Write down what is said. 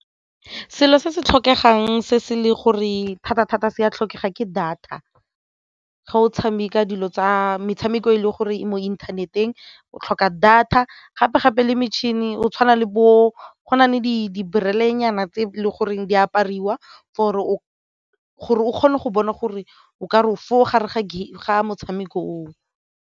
Selo se se tlhokegang se se le gore thata-thata se a tlhokega ke data ge o tshameka metshameko e leng gore e mo inthaneteng o tlhoka data gape-gape le metšhini o tshwana le bo gone di nyana tse e le goreng di apariwa foo gore o kgone go bona gore o ka re o foo gare ga motshameko oo.